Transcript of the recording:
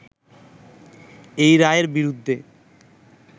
এই রায়ের বিরুদ্ধে